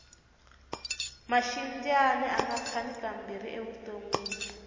maxindyani anga khani ka mbirhi evutonwini